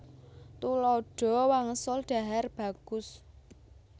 Tuladha wangsul dhahar bagus